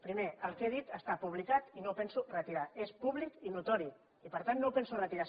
primer el que he dit està publicat i no ho penso retirar és públic i notori i per tant no ho penso retirar